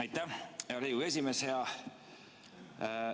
Aitäh, hea Riigikogu esimees!